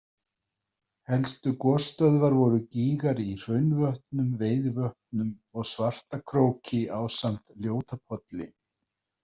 Helstu gosstöðvar voru gígar í Hraunvötnum, Veiðivötnum, og Svartakróki ásamt Ljótapolli.